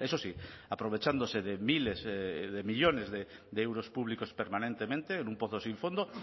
eso sí aprovechándose de miles de millónes de euros públicos permanentemente en un pozo sin fondo